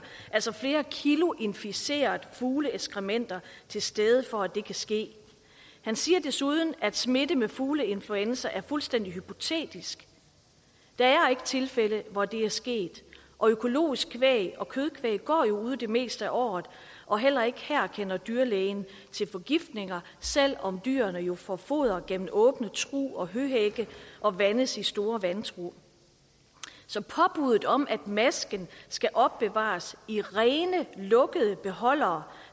altså flere kilo inficerede fugleekskrementer til stede for at det kan ske han siger desuden at smitte med fugleinfluenza er fuldstændig hypotetisk der er ikke tilfælde hvor det er sket og økologisk kvæg og kødkvæg går jo ude det meste af året og heller ikke her kender dyrlægen til forgiftninger selv om dyrene jo får foder gennem åbne trug og høhække og vandes i store vandtrug så påbudet om at masken skal opbevares i rene lukkede beholdere